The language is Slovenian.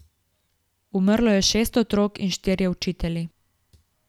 Umrlo je šest otrok in štirje učitelji.